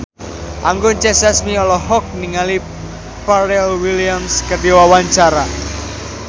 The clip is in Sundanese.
Anggun C. Sasmi olohok ningali Pharrell Williams keur diwawancara